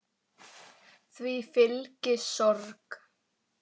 Því fylgi sorg.